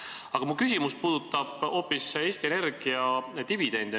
Aga mu küsimus puudutab hoopis Eesti Energia dividende.